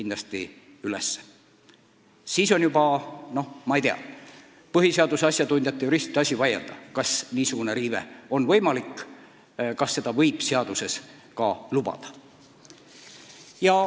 Ning siis on juba põhiseaduse asjatundjate, juristide asi vaielda, kas niisugune riive on aktsepteeritav, kas seda võib seaduses ka lubada.